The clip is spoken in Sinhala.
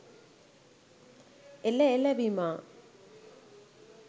එල එල විමා